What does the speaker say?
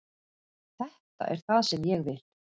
Þetta er það sem ég vil.